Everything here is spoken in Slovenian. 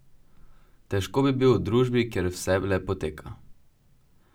Težko bi bil v družbi, kjer vse le poteka.